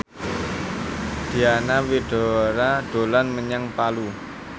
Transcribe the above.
Diana Widoera dolan menyang Palu